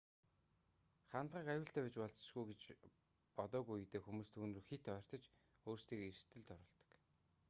хандгайг аюултай байж болзошгүй гэж бодоогүй үедээ хүмүүс түүн рүү хэт ойртож өөрсдийгөө эрсдэлд оруулдаг